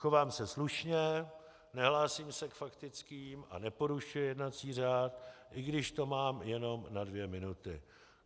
Chovám se slušně, nehlásím se k faktickým a neporušuji jednací řád, i když to mám jenom na dvě minuty.